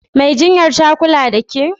Mai jinyar ta kula da ƙe?